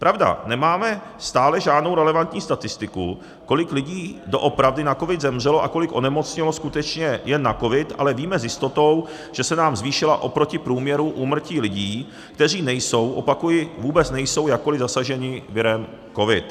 Pravda, nemáme stále žádnou relevantní statistiku, kolik lidí doopravdy na covid zemřelo a kolik onemocnělo skutečně jen na covid, ale víme s jistotou, že se nám zvýšila oproti průměru úmrtí lidí, kteří nejsou, opakuji, vůbec nejsou jakkoliv zasaženi virem covid.